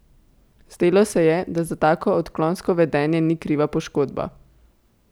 Zdelo se je, da za tako odklonsko vedenje ni kriva poškodba.